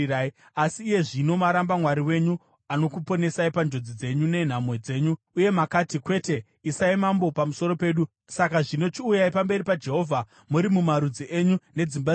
Asi iye zvino maramba Mwari wenyu, anokuponesai panjodzi dzenyu nenhamo dzenyu. Uye makati, ‘Kwete, isai mambo pamusoro pedu.’ Saka zvino chiuyai pamberi paJehovha muri mumarudzi enyu nedzimba dzenyu.”